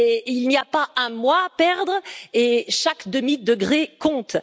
Il n'y a pas un mois à perdre et chaque demi degré compte.